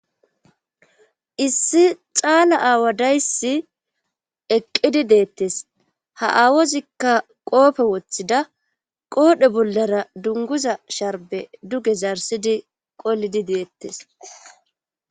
issi xaala aawa dayssi eqqidi deettes ha aawozikka qoofe woththida qoodhe bollara dunguza sharbe duge zarsidi qolidi deettes